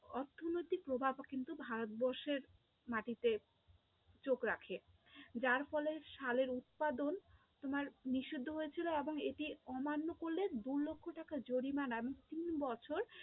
অর্থনৈতিক প্রভাব কিন্তু ভারতবর্ষের মাটিতে চোখ রাখে, যার ফলে শালের উৎপাদন তোমার নিষিদ্ধ হয়েছিল এবং এটির অমান্য করলে দু লক্ষ টাকা জরিমানা এবং তিন বছর